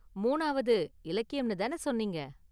மூணாவது இலக்கியம்னு தான சொன்னீங்க?